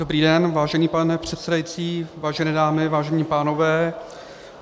Dobrý den, vážený pane předsedající, vážené dámy, vážení pánové.